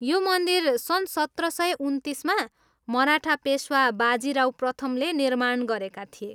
यो मन्दिर सन् सत्र सय उन्तिसमा मराठा पेसवा बाजी राव प्रथमले निर्माण गरेका थिए।